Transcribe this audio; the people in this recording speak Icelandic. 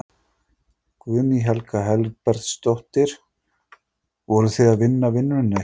Guðný Helga Herbertsdóttir: Voruð þið að vinna vinnuna ykkar?